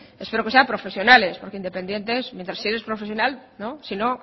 espero que sean profesionales porque independientes si eres profesional si no